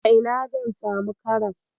A ina zan samu karas?